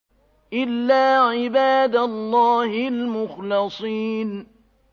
إِلَّا عِبَادَ اللَّهِ الْمُخْلَصِينَ